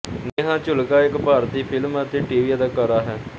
ਨੇਹਾ ਝੁਲਕਾ ਇੱਕ ਭਾਰਤੀ ਫਿਲਮ ਅਤੇ ਟੀਵੀ ਅਦਾਕਾਰਾ ਹੈ